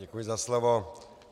Děkuji za slovo.